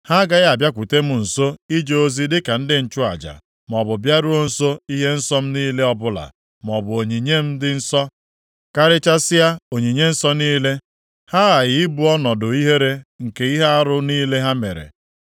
Ha agaghị abịakwute m nso ije ozi dịka ndị nchụaja, maọbụ bịaruo nso ihe nsọ m niile ọbụla maọbụ onyinye m dị nsọ karịchasịa onyinye nsọ niile, ha aghaghị ibu ọnọdụ ihere nke ihe arụ niile ha mere.